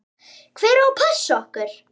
Hver á að passa okkur?